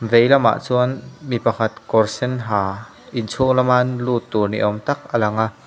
vei lamah chuan mi pakhat kawr sen ha inchhung lama lut tur ni awm tak alang a.